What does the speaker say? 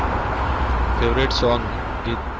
favorite song ગીત